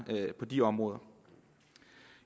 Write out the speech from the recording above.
på de områder